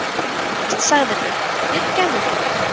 Næst sagðirðu: Fyrirgefðu þér